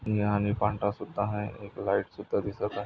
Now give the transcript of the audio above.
निळा आणि पांढरसुद्धा आहे एक लाइट सुद्धा दिसत आहे.